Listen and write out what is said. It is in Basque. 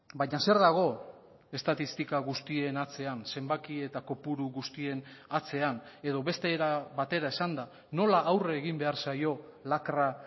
baina zer dago estatistika guztien atzean zenbaki eta kopuru guztien atzean edo beste era batera esanda nola aurre egin behar zaio lakra